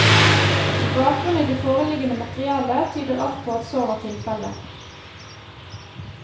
Med bakgrunn i det foreliggende materiale tyder alt på at så var tilfelle.